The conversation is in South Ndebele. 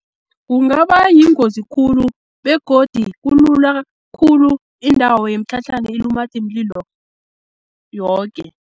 Kungaba yingozi khulu begodi kulula khulu indawo yemitlhatlhana ilumathe imlilo yoke.